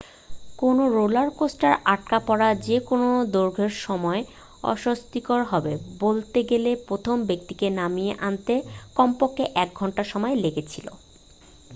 কোনও রোলার কোস্টারে আটকা পড়া যে কোন দৈর্ঘ্যের সময়ই অস্বস্তিকর হবে বলতে গেলে প্রথম ব্যক্তিকে নামিয়ে আনতে কমপক্ষে এক ঘন্টা সময় লেগেছিল